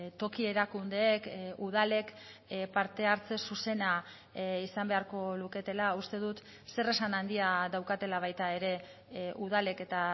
toki erakundeek udalek parte hartze zuzena izan beharko luketela uste dut zer esan handia daukatela baita ere udalek eta